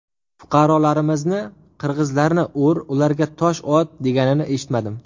Fuqarolarimizni qirg‘izlarni ur, ularga tosh ot, deganini eshitmadim.